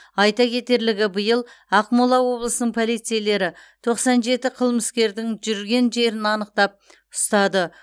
айта кетерлігі биыл ақмола облысының полицейлері тоқсан жеті қылмыскердің жүрген жерін анықтап ұстады